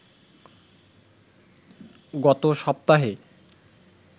গত সপ্তাহে